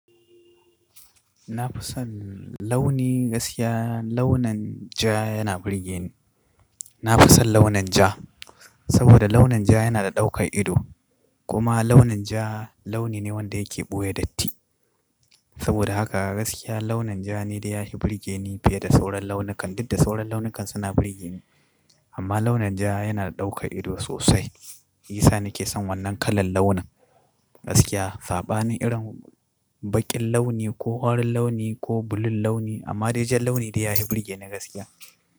Na fi son launi gaskiya launin ja yana burge ni. Na fi son launin ja, saboda launin ja yana da ɗaukan ido. Kuma launin ja launi ne wanda yake ɓoye datti. Saboda haka gaskiya launin ja ne da ya yi burge ni fiye da sauran launukan, duk da sauran launukan suna burge ni. Amma launin ja yana da ɗaukan ido sosai. Isa ni ke son wannan kalar launin. Gaskiya, saɓanin irin baƙin launi ko farin launi ko blue launi, amma dai jan launi ne da ya yi burge ni gaskiya.